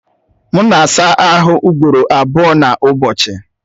M na-asaa ahụ ugboro abụọ n'ụbọchị.